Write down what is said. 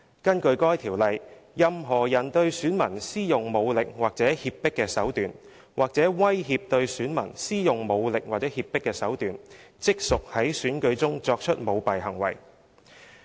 根據《條例》，任何人對選民施用武力或脅迫手段，或威脅對選民施用武力或脅迫手段，即屬在選舉中作出舞弊行為。